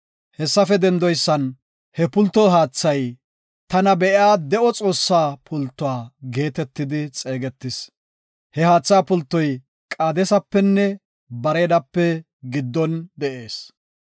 Hessafe dendoysan he pulto haathay, “Tana Be7iya De7o Xoossa Pultuwa” geetetidi xeegetis. He haatha pultoy Qaadesapenne Bareedape giddon de7ees.